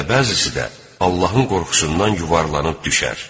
Və bəzisi də Allahın qorxusundan yuvarlanıb düşər.